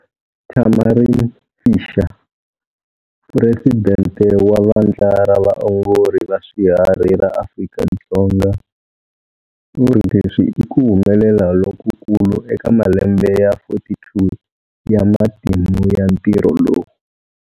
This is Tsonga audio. Tamarin Fisher, Puresidente wa Vandla ra Vaongori va Swiharhi ra Afrika-Dzonga, u ri leswi i ku humelela lokukulu eka malembe ya 42 ya matimu ya ntirho lowu.